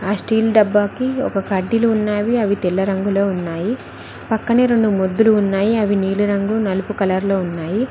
ఆ స్టీల్ డబ్బా కి ఒక కడ్డీలు ఉన్నవి అవి తెల్ల రంగులో ఉన్నాయి పక్కనే రెండు ముద్దులు ఉన్నాయి అవి నీలిరంగు నలుపు కలర్ లో ఉన్నాయి.